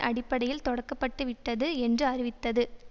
அடிப்படையில் தொடக்கப்பட்டுவிட்டது என்று அறிவித்தது